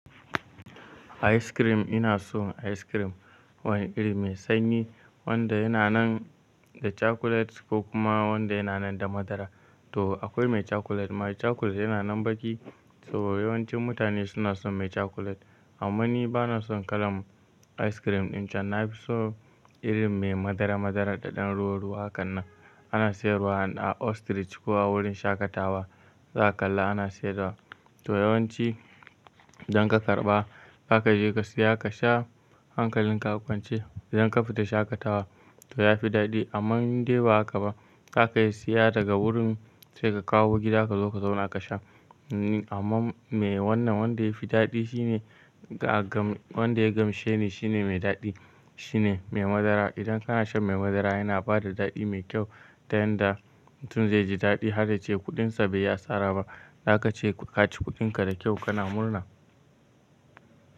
Ice cream ina so ice cream wani iri mai sanyi wanda yana nan da cakulet ko kuma wanda yana nan da madara. To akwai mai cakulet, mai cakulet yana nan baƙi saboda yawancin mutane suna son mai cakulet. Amma ni bana son kalan ice cream ɗin can, na fi son irin mai ɗan madara, madarar da ɗan ruwa ruwa hakan nan. Ana sayarwa a ostrich ko a wurin shaƙatawa, za ka kalla ana sayarwa. To yawanci idan ka karɓa za ka je ka siya ka sha hankalin ka a kwance. Idan ka fita shaƙatawa to ya fi daɗi. Amman inde ba haka ba, za ka iya siya daga wurin sai ka kawo gida ka zo ka zauna ka sha. Amma me wannan wanda ya fi daɗi shine wanda ya gamshe ni shine mai daɗi shine mai madara. Idan kana shan mai madara yana bada daɗi mai kyau ta yanda mutum zai ji daɗi har yace kuɗinsa bai yi asaraba. Zaka ce ka ci kuɗinka da kyau kana murna.